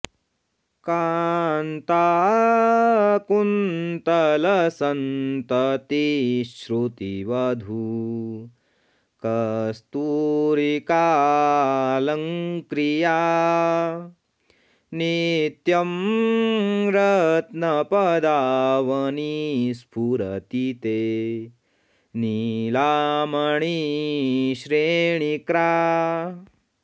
कान्ताकुन्तलसन्ततिः श्रुतिवधूकस्तूरिकालङ्क्रिया नित्यं रत्नपदावनि स्फुरति ते नीला मणिश्रेणिक्रा